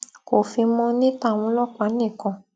kò fi mọ ní tàwọn ọlọpàá nìkan